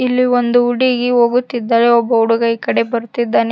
ಇಲ್ಲಿ ಒಂದು ಹುಡುಗಿ ಹೋಗುತ್ತಿದ್ದರೆ ಒಬ್ಬ ಹುಡುಗ ಈ ಕಡೆ ಬರುತ್ತಿದ್ದಾನೆ.